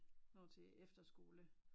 Når til efterskole